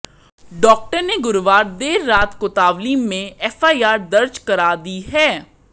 doctor ने गुरुवार देर रात कोतवाली में एफआईआर दर्ज करा दी है